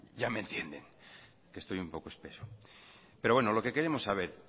ya me entienden que estoy un poco espeso pero lo que queremos saber